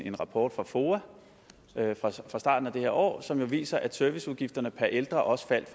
en rapport fra foa fra starten af det her år som jo viser at serviceudgifterne per ældre også faldt